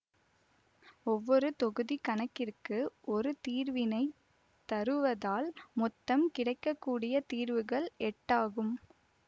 ஒவ்வொரு தொகுதி கணக்கிற்கு ஒரு தீர்வினை தருவதால் மொத்தம் கிடைக்க கூடிய தீர்வுகள் எட்டாகும்